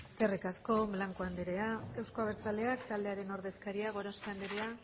eskerrik asko blanco andrea euzko abertzaleak taldearen ordezkaria gorospe anderea